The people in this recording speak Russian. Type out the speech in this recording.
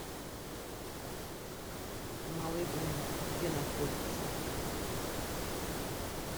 малый гум где находится